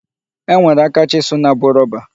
E nwere aka chisụl na-abụ rọba.